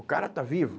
O cara está vivo.